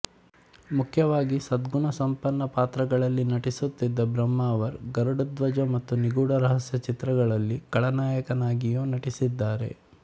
ಮುಖ್ಯವಾಗಿ ಸದ್ಗುಣಸಂಪನ್ನ ಪಾತ್ರಗಳಲ್ಲಿ ನಟಿಸುತ್ತಿದ್ದ ಬ್ರಹ್ಮಾವರ್ ಗರುಡಧ್ವಜ ಮತ್ತು ನಿಗೂಢ ರಹಸ್ಯ ಚಿತ್ರಗಳಲ್ಲಿ ಖಳನಟನಾಗಿಯೂ ನಟಿಸಿದ್ದಾರೆ